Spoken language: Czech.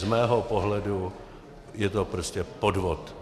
Z mého pohledu je to prostě podvod.